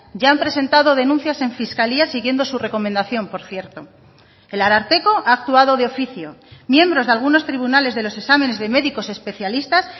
ya han presentado denuncias en fiscalía siguiendo su recomendación por cierto el ararteko ha actuado de oficio miembros de algunos tribunales de los exámenes de médicos especialistas